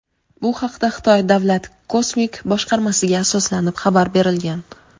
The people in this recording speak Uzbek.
Bu haqda Xitoy davlat kosmik boshqarmasiga asoslanib xabar berilgan.